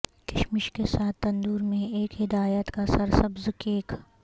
کشمش کے ساتھ تندور میں ایک ہدایت کا سرسبز کیک